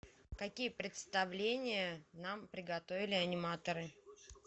какие представления нам приготовили аниматоры